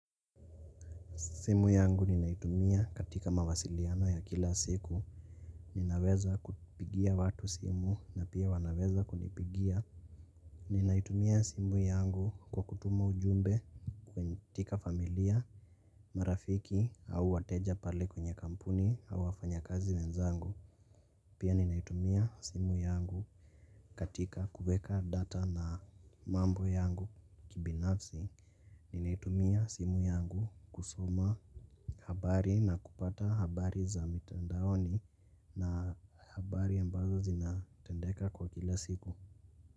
Simu yangu ninaitumia katika mawasiliano ya kila siku. Ninaweza kupigia watu simu na pia wanaweza kunipigia. Ninaitumia simu yangu kwa kutuma ujumbe kwenye familia, marafiki au wateja pale kwenye kampuni au wafanya kazi wenzangu. Pia ninaitumia simu yangu katika kuweka data na mambo yangu kibinafsi. Ninaitumia simu yangu kusoma habari na kupata habari. Za mitandaoni na habari ambazo zinatendeka kwa kila siku.